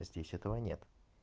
здесь этого нет